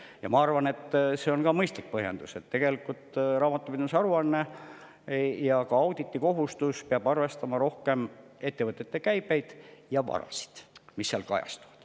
Ja ma arvan, et see on mõistlik põhjendus, sest tegelikult raamatupidamise aruanne ja ka auditikohustus peab arvestama rohkem ettevõtete käivet ja varasid, mis seal kajastuvad.